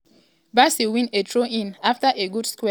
bassey win a throw-in afta good square play from di midfield.